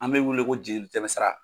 An bɛ wele ko jelitɛmɛsira.